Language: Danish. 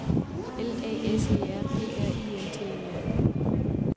L A S E R P R I N T E R